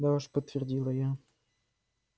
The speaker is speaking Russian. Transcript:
да уж подтвердила я